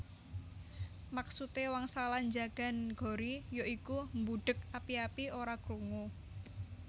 Maksude wangsalan njagan gori ya iku mbudheg api api ora krungu